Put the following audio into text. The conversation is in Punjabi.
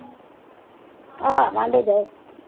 ਆਹ ਵਾਂਡੇ ਜਾਓ।